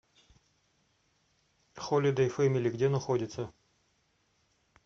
холидей фэмили где находится